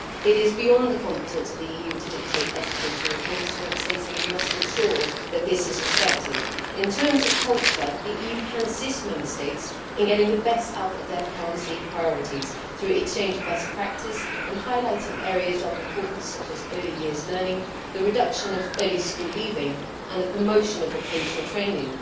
It is beyond the competence of the EU to dictate educational reforms to Member States, and we must ensure that this is respected. In terms of culture, the EU can assist Member States in getting the best out of their policy priorities through exchanges of best practice and highlighting areas of importance, such as early years learning, the reduction of early school leaving and the promotion of vocational training.